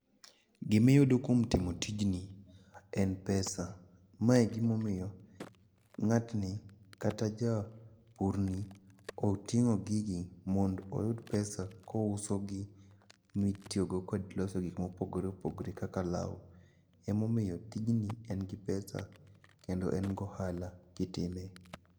Gimiyudo kuom timo tijni en pesa. Mae e gimomiyo ng'atni kata ja purni oting'o gigi mond oyud pesa kousogi mitiyogo kod loso gik mopogore opogore kaka law. Omomiyo tijni en gi pesa kendo en gi ohala kitime.